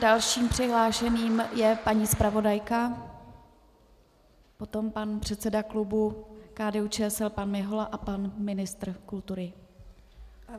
Dalším přihlášeným je paní zpravodajka, potom pan předseda klubu KDU-ČSL pan Mihola a pan ministr kultury.